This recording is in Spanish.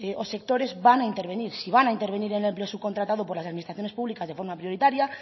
o sectores van a intervenir si van a intervenir en el empleo subcontratado por las administraciones públicas de forma prioritaria